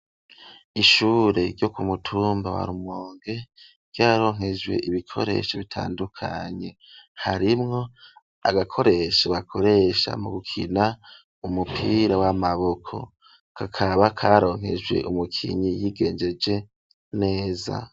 Ishure ryo ku mutumba warumonge ,ryaronkejwe ibikoresho bitandukanye, harimwo agakoresho bakoresha mu gukina umupira w'amaboko, kakaba karonkejwe umukinyi y'igengeje neza.